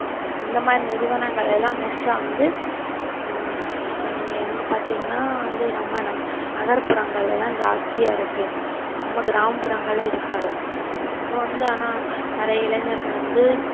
இந்த மாதிரி நிறுவனங்கள் எல்லாம் most ஆ வந்து ஹம் எங்~ எங்க பாத்தீங்கன்னா வந்து நம்ம ந~ நகர்புறங்கள்ல எல்லாம் ஜாஸ்தியா இருக்கு நம்ம கிராமப்புறங்கள்ல இருக்காது இப்போ வந்து ஆனா நிறைய இளைஞர்கள் வந்து